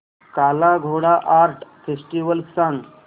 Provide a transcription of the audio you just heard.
काला Ghoda art festival सांग